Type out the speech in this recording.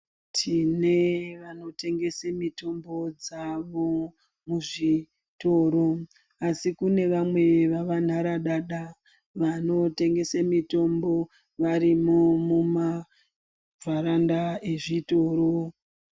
Tine vanotengese mitombo dzavo muzvitoro. Asi kune vamwe vava nharadada vanotengese mitombo varimo mumavharanda ezvitoro.